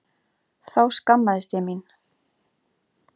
Þá skammaðist ég mín.